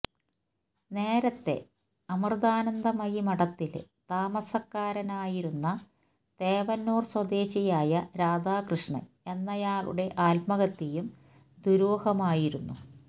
നേരത്തെ അമൃതാനന്ദമയി മഠത്തിലെ താമസക്കാരനായിരുന്ന തേവന്നൂർ സ്വദേശിയായ രാധാകൃഷ്ണൻ എന്നയാളുടെ ആത്മഹത്യയും ദുരൂഹമായിരുന്നു